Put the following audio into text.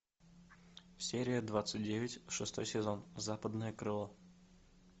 серия двадцать девять шестой сезон западное крыло